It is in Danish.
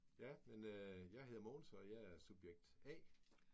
Ja men jeg hedder Mogens og jeg er subjekt A